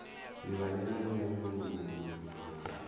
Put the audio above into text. livhanywa na nyanyulaho hoho na